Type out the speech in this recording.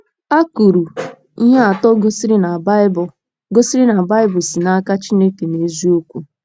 a kwuru ihe atọ gosiri na Baịbụl gosiri na Baịbụl si n’aka Chineke n’eziokwu.